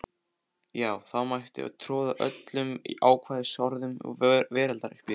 Já þá mætti troða öllum ókvæðisorðum veraldar uppí þig.